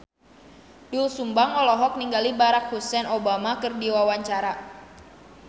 Doel Sumbang olohok ningali Barack Hussein Obama keur diwawancara